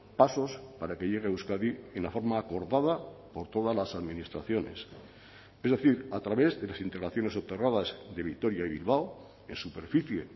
pasos para que llegue a euskadi en la forma acordada por todas las administraciones es decir a través de las integraciones soterradas de vitoria y bilbao en superficie